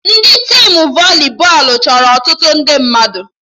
Ndị tim voli bọọlụ chọrọ ọtụtụ ndị mmadụ